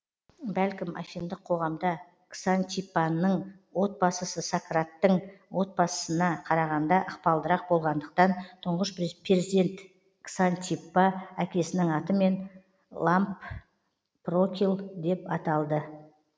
бәлкім афиндық қоғамда ксантиппанның отбасысы сократтің отбасысына қарағанда ықпалдырақ болғандықтан тұңғыш перзент ксантиппа әкесінің атымен лампрокл деп аталды